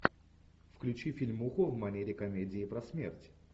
включи фильмуху в манере комедии про смерть